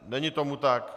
Není tomu tak.